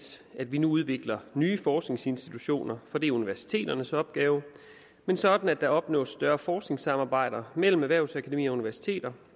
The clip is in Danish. at vi nu udvikler nye forskningsinstitutioner for det er universiteternes opgave men sådan at der opnås større forskningssamarbejde mellem erhvervsakademier og universiteter